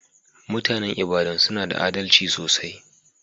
Mutanen lbadan suna da adalci sosai.